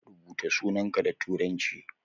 Rubuta sunanka da turanci